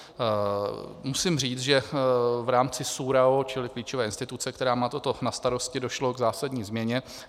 Musím říct, že v rámci SÚRAO, čili klíčové instituce, která má toto na starosti, došlo k zásadní změně.